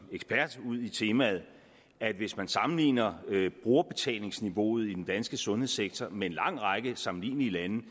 ekspert udi temaet at hvis man sammenligner brugerbetalingsniveauet i den danske sundhedssektor med en lang række sammenlignelige lande